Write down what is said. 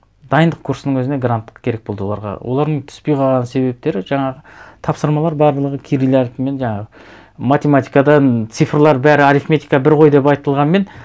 дайындық курсының өзіне гранттық керек болды оларға олардың түспей қалған себептері жаңағы тапсырмалар барлығы кирил әріпімен жаңағы математикадан цифрлар бәрі арифметика бір ғой деп айтылғанмен